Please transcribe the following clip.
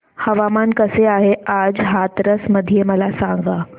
हवामान कसे आहे आज हाथरस मध्ये मला सांगा